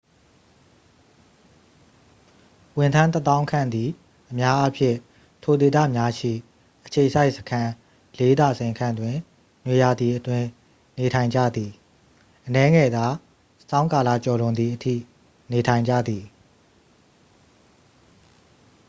ဝန်ထမ်းတစ်သောင်းခန့်သည် အများအားဖြင့် ထိုဒေသများရှိ အခြေစိုက်စခန်းလေးဒါဇင်ခန့်တွင် နွေရာသီအတွင်း နေထိုင်ကြသည် အနည်းငယ်သာ ဆောင်းကာလကျော်လွန်သည်အထိ နေထိုင်ကြသည်